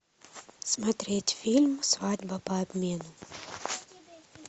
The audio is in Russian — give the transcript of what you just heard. смотреть фильм свадьба по обмену